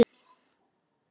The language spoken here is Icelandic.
Mörg nýju hótelin á strönd